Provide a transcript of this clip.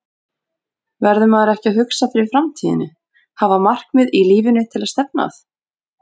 Verður maður ekki að hugsa fyrir framtíðinni, hafa markmið í lífinu til að stefna að?